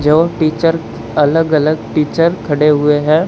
जो टीचर अलग अलग टीचर खड़े हुए हैं।